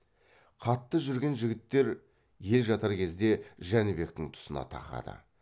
қатты жүрген жігіттер ел жатар кезде жәнібектің тұсына тақады